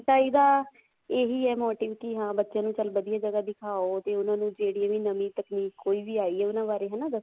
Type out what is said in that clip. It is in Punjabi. ਇਹਦਾ ਇਹੀ motive ਆ ਵੀ ਹਾਂ ਬੱਚਿਆਂ ਨੂੰ ਚੱਲ ਵਧੀਆ ਜਗ੍ਹਾ ਦਿਖਾਉ ਤੇ ਉਹਨਾ ਨੂੰ ਜਿਹੜੀ ਵੀ ਨਵੀ ਤਕਨੀਕ ਕੋਈ ਵੀ ਆਈ ਏ ਉਹਨਾ ਬਾਰੇ ਹਨਾ